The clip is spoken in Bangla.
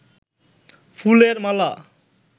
ফুলের মালা